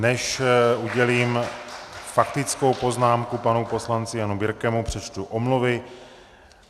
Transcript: Než udělím faktickou poznámku panu poslanci Janu Birkemu, přečtu omluvy.